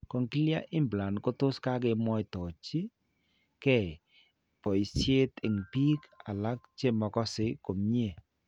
Cochlear implant ko tos' ke mwaitechin ke boisiet eng' biiik alak che makokase komny'e.